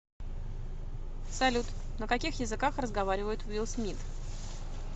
салют на каких языках разговаривает уилл смит